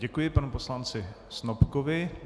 Děkuji panu poslanci Snopkovi.